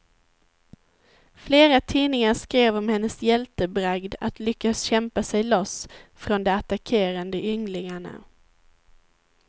Flera tidningar skrev om hennes hjältebragd att lyckas kämpa sig loss från de attackerande ynglingarna.